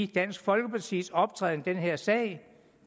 dansk folkepartis optræden i den her sag